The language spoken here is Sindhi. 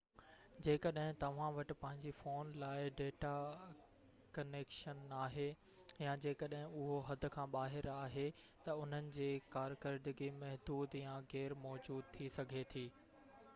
جيڪڏهن توهان وٽ پنهنجي فون لاءِ ڊيٽا ڪنيڪشن ناهي يا جڏهن اهو حد کان ٻاهر آهي ته انهن جي ڪارڪردگي محدود يا غير موجود ٿي سگهي ٿي